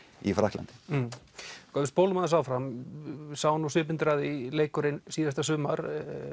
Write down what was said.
í Frakklandi ef við spólum aðeins áfram við sáum nú svipmyndir af því leikurinn síðasta sumar